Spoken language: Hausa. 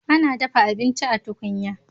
Ana dafa abinci a tukunya.